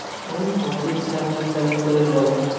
এই পঁচিশ ছাব্বিশ তারিখ করে যাবো।